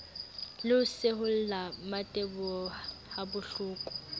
le ho seholla mmateboho habohloko